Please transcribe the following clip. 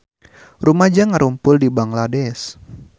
Rumaja ngarumpul di Bangladesh